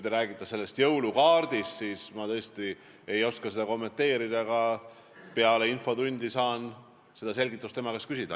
Seda jõulukaarti ma tõesti ei oska kommenteerida, aga peale infotundi saan tema käest selgitust küsida.